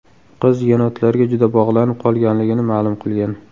Qiz yenotlarga juda bog‘lanib qolganligini ma’lum qilgan.